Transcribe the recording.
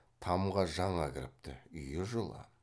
тамға жаңа кіріпті үй жылы